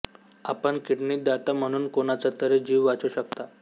आपण किडनी दाता म्हणून कोणाचातरी जीव वाचवू शकता